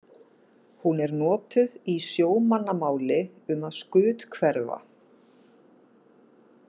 Hún er notuð í sjómannamáli um að skuthverfa.